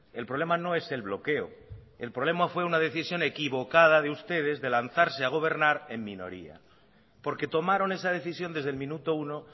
el problema no es el bloqueo el problema fue una decisión equivocada de ustedes de lanzarse a gobernar en minoría porque tomaron esa decisión desde el minuto uno